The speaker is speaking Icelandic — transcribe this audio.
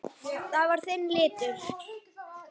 Það var þinn litur.